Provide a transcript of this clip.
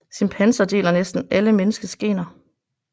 Chimpanser deler næsten alle menneskets gener